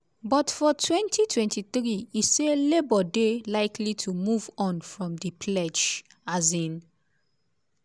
but for 2023 e say labour dey "likely to move on" from di pledge. um